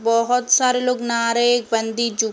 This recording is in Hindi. बोहोत सारे लोग नारे बंदी जू --